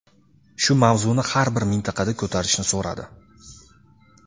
shu mavzuni har bir mintaqada ko‘tarishni so‘radi.